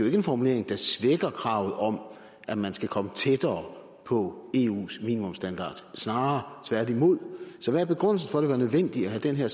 ikke en formulering der svækker kravet om at man skal komme tættere på eus minimumsstandarder snarere tværtimod så hvad er begrundelsen for at det var nødvendigt at have den her